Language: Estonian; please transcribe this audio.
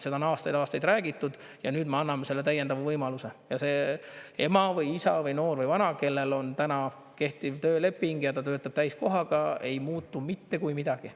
Seda on aastaid-aastaid räägitud ja nüüd me anname selle täiendava võimaluse ja see ema või isa või noor või vana, kellel on täna kehtiv tööleping ja ta töötab täiskohaga – temal ei muutu mitte kui midagi.